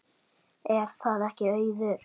Er það ekki Auður?